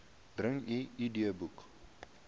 bring u idboek